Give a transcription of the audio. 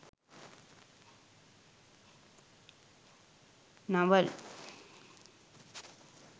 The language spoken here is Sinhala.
navel